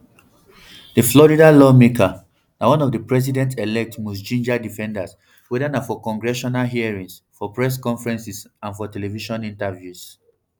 di florida lawmaker na one of di president elect most gingered defenders weda na for congressional hearings for press conferences and for television appearances